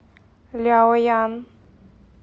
ляоян